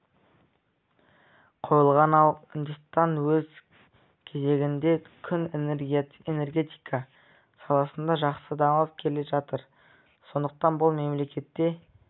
қойылған ал үндістан өз кезегінде күн энергетика саласында жақсы дамып келе жатыр сондықтан бұл мемлекетте